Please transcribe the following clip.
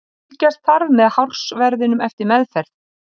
Fylgjast þarf með hársverðinum eftir meðferð.